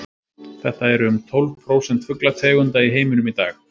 þetta eru um tólf prósent fuglategunda í heiminum í dag